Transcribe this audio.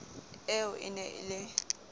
eo e ne e le